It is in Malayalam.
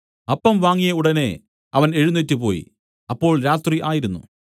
അപ്പം വാങ്ങിയ ഉടനെ അവൻ എഴുന്നേറ്റുപോയി അപ്പോൾ രാത്രി ആയിരുന്നു